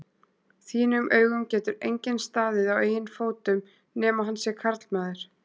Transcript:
þínum augum getur enginn staðið á eigin fótum nema hann sé karlmaður.